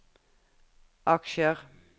aksjer